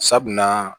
Sabu na